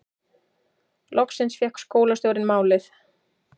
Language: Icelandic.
Loksins fékk skólastjórinn málið